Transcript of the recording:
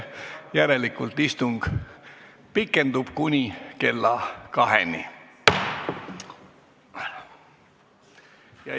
Järelikult istung pikeneb kuni kella kaheni.